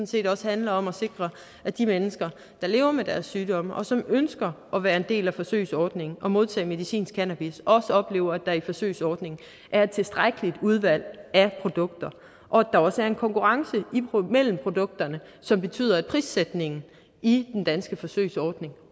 set også handler om at sikre at de mennesker der lever med deres sygdomme og som ønsker at være en del af forsøgsordningen og modtage medicinsk cannabis også oplever at der i forsøgsordningen er et tilstrækkeligt udvalg af produkter og at der også er en konkurrence mellem produkterne som betyder at prissætningen i den danske forsøgsordning